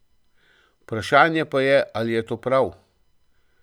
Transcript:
Vprašanje pa je, ali je to prav.